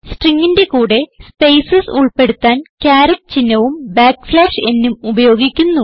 stringന്റെ കൂടെ സ്പേസസ് ഉൾപ്പെടുത്താൻ കാരറ്റ് ചിഹ്നവും nഉം ഉപയോഗിക്കുന്നു